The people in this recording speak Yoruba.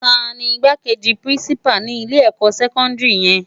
Táni Igbákéji pirinsipá ni ilé èkò sèkòndiri yèn?